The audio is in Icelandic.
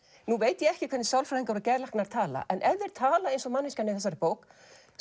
nú veit ég ekki hvernig sálfræðingar og geðlæknar tala en ef þeir tala eins og manneskjan í þessari bók